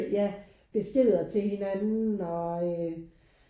Ja beskeder til hinanden og øh